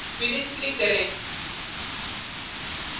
finish click करें